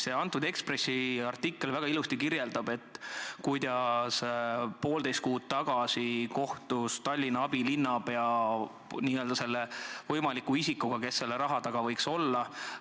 See Ekspressi artikkel kirjeldab väga ilusti, kuidas poolteist kuud tagasi kohtus Tallinna abilinnapea selle võimaliku isikuga, kes võiks selle raha taga olla.